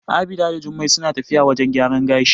Abida da Jummai suna tafiya wajen gyaran gashi.